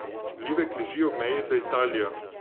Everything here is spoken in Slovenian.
Livek leži ob meji z Italijo.